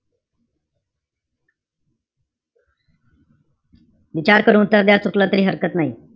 विचार करून उत्तर द्या. चुकलं तरी हरकत नाई.